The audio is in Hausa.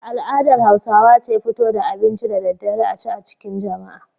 Al'adar Hausawa ce fito da abinci da daddare a ci a cikin jama'a.